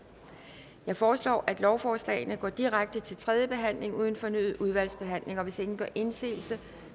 jeg foreslår at lovforslagene går direkte til tredje behandling uden fornyet udvalgsbehandling hvis ingen gør indsigelse